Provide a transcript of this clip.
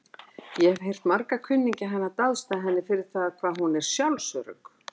Ég hef heyrt marga kunningja hennar dást að henni fyrir það hvað hún er sjálfsörugg.